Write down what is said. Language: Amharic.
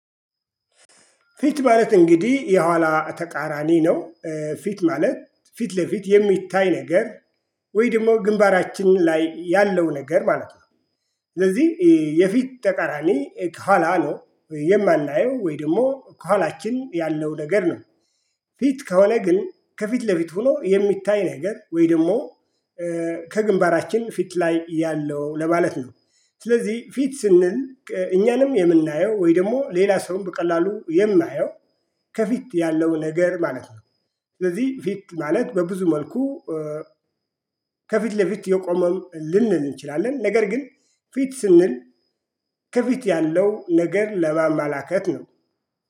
ፊት ማለት እንግዲህ የኋላ ተቃራኒ ነው። ፊት ማለት ፊት ለፊት የሚታይ ነገር። ወይ ደግሞ ግንባራችን ላይ ያለው ነገር ማለት ነው። ስለዚህ የፊት ተቃራኒ ከኋላ ነው የማናየው ወይ ደግሞ ከኋላችን ያለው ነገር ነው። ፊት ከወለ ግን ከፊት ለፊት ሆኖ የሚታይ ነገር ወይ ደግሞ ከግንባራችን ፊት ላይ ያለው ለማለት ነው። ስለዚህ ፊት ስንል እኛንም የምናየው ወይ ደግሞ ሌላ ሰውም በቀላሉ የማየው ከፊት ያለው ነገር ማለት ነው። ስለዚህ ፊት ማለት በብዙ መልኩ ከፊት ለፊት የቆመም ልንል እንችላለን ነገር ግን ፊት ስንል ከፊት ያለው ነገር ለማመላከት ነው